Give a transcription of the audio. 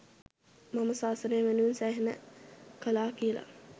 මම ශාසනය වෙනුවෙන් සෑහෙන්න කළා කියල